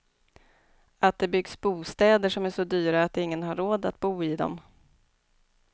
Att det byggs bostäder som är så dyra att ingen har råd att bo i dem.